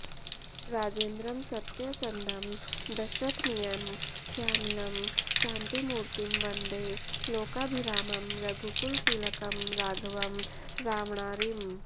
राजेन्द्रं सत्यसन्धं दशरथनयं श्यामलं शान्तिमूर्तिं वन्दे लोकाभिरामं रघुकुलतिलकं राघवं रावणारिम्